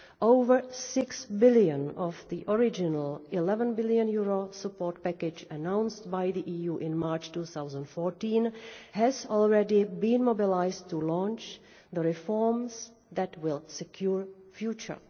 over six billion of the original EUR 11 billion support package announced by the EU in March 2014 has already been mobilised to launch the reforms that will secure the future.